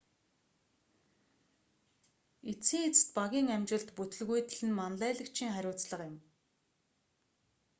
эцсийн эцэст багийн амжилт бүтэлгүйтэл нь манлайлагчийн хариуцлага юм